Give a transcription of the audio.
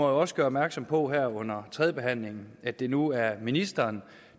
også gøre opmærksom på her under tredjebehandlingen at det nu er ministeren